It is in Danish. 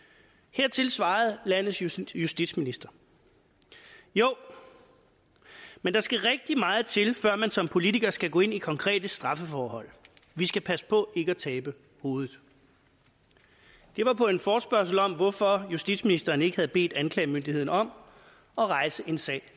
hertil svarede landets justitsminister jo men der skal rigtig meget til før man som politiker skal gå ind i konkrete straffeforhold vi skal passe på ikke at tabe hovedet det var på en forespørgsel om hvorfor justitsministeren ikke havde bedt anklagemyndigheden om at rejse en sag